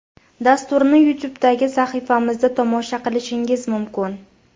Dasturni YouTube’dagi sahifamizda tomosha qilishingiz mumkin.